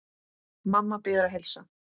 Mamma biður að heilsa.